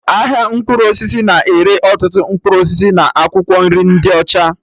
Ahịa mkpụrụ osisi na-ere ọtụtụ mkpụrụ osisi na akwụkwọ nri ndị ọcha